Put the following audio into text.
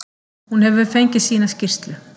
Hún hefur fengið sína skýrslu.